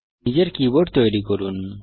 নিজের কীবোর্ড তৈরি করুন